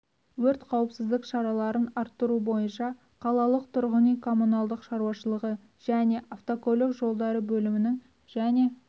өрт қауіпсіздік шараларын арттыру бойынша қалалық тұрғын үй коммуналдық шаруашылығы және автокөлік жолдары бөлімінің және